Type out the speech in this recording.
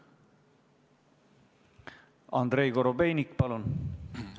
Andrei Korobeinik, palun!